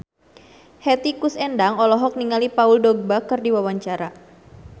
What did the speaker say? Hetty Koes Endang olohok ningali Paul Dogba keur diwawancara